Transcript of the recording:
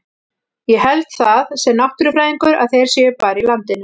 Ég held það, sem náttúrufræðingur, að þeir séu bara í landinu.